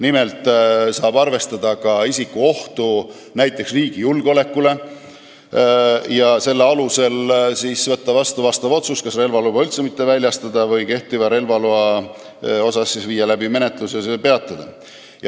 Nimelt saab nüüd arvestada ka isiku ohtu riigi julgeolekule ja selle alusel võtta vastu otsus, kas relvaluba üldse mitte väljastada või viia läbi menetlus ja relvaloa kehtivus peatada.